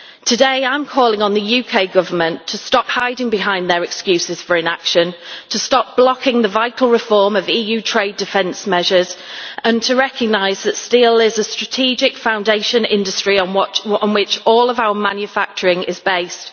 Today I am calling on the UK Government to stop hiding behind their excuses for inaction, to stop blocking the vital reform of EU trade defence measures and to recognise that steel is a strategic foundation industry on which all of our manufacturing is based.